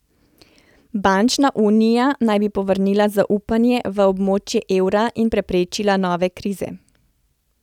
Bančna unija naj bi povrnila zaupanje v območje evra in preprečila nove krize.